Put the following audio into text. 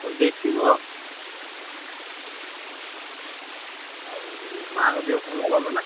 ହଉ ଦେଖିବୁ ଆଉ। ଆଉ ମାଆଙ୍କ ଦେହ ଭଲ ନା?